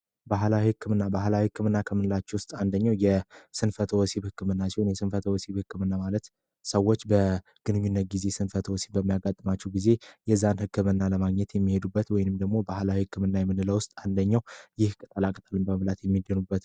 ባህላዊ ሕክምና ባህላዊ ሕክምና ከምንላቸው ውስጥ አንደኛው የ ስንፈተ ወሲብ ህክምና ሲሆን፤ የ ስንፈተ ወሲብ ህክምና ማለት ሰዎች በግንኙነት ጊዜ ስንፈተ ወሲብ በሚያጋጥማቸው ጊዜ የዛን ሕክምና ለማግኘት የሚሄዱበት ወይንም ደግሞ ባህላዊ ሕክምና የምንለው ውስጥ አንደኛው ይህ ቅጠላ ቅጠል በመብላት የሚድኑበት ነው።